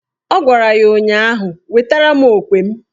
Ọ gwara ya ụnyaahụ "Wetara mụ okwe m"!